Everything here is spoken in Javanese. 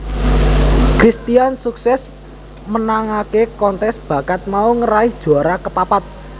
Christian sukses menangaké kontes bakat mau ngeraih juara kapapat